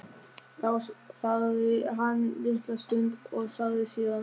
Þá þagði hann litla stund og sagði síðan